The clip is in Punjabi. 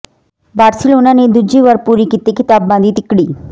ਬਾਰਸੀਲੋਨਾ ਨੇ ਦੂਜੀ ਵਾਰ ਪੂਰੀ ਕੀਤੀ ਖ਼ਿਤਾਬਾਂ ਦੀ ਤਿਕੜੀ